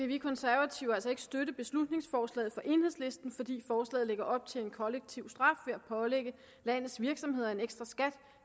vi konservative altså ikke støtte beslutningsforslaget fra enhedslisten fordi forslaget lægger op til en kollektiv straf ved at pålægge landets virksomheder en ekstra skat